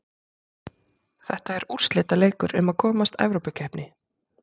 Þetta er úrslitaleikur um að komast Evrópukeppni.